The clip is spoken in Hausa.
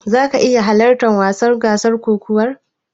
Zaka iya halartar gasar wasan kokawar?